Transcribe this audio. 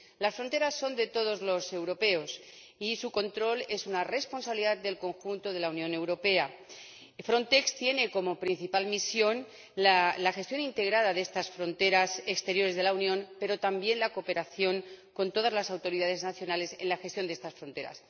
Las fronteras son de todos los europeos y su control es una responsabilidad del conjunto de la Unión Europea. Frontex tiene como principal misión la gestión integrada de estas fronteras exteriores de la Unión, pero también la cooperación con todas las autoridades nacionales en la gestión de estas fronteras.